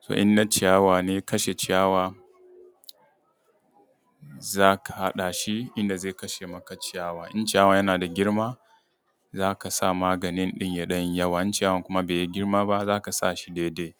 So in na ciyawa ne kashe ciyawa za ka haɗa shi, yanda zai kashe maka ciyawa. In ciyawa yana da girma za ka sa maganin ɗin ya ɗan yi yawa.. In ciyawa bai yi girma ba zaka sa shi dai dai.